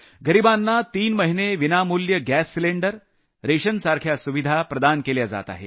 गरिबांना तीन महिने विनामूल्य गॅस सिलिंडर रेशनसारख्या सुविधा प्रदान केल्या जात आहेत